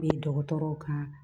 dɔgɔtɔrɔw ka